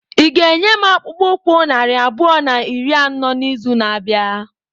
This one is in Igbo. Ị ga-enye m akpụkpọ ụkwụ narị abụọ na iri anọ n'izu na-abịa?